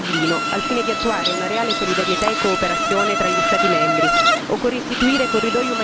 Occorre rivedere il regolamento di Dublino, al fine di attuare una reale solidarietà e cooperazione tra gli Stati membri.